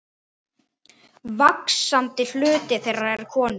Vaxandi hluti þeirra er konur.